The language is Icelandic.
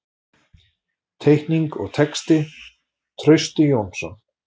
Teikning og texti: Trausti Jónsson.